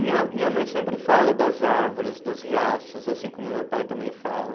Minha minha mãe sempre fala das árvores, dos riachos, assim como meu pai também fala.